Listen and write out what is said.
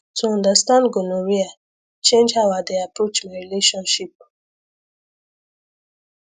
to understand gonorrhea change how i dey approach my relationship